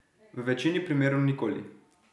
V večini primerov nikoli.